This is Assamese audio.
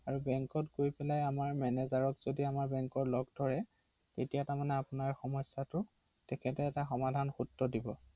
হয়